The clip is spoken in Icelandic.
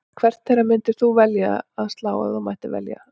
Hvert þeirra myndir þú velja að slá ef þú mættir velja?